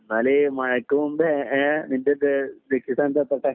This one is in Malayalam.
എന്നാൽ മഴയ്ക്ക് മുന്നേ നിന്റെ ലക്ഷ്യ സ്ഥാനത്തു എത്തട്ടെ